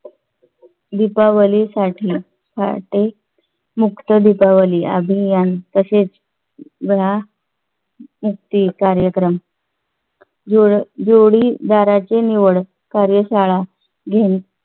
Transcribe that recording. दीपावलीसाठी पहाटे मुक्त दीपावली अभियान तसेच या मुक्ती कार्यक्रम जोडी जोडीदाराची निवड कार्यशाळा घेऊन